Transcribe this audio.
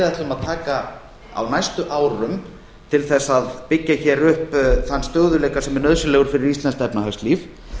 ætlum að taka á næstu árum til þess að byggja hér upp þann stöðugleika sem er nauðsynlegur fyrir íslenskt efnahagslíf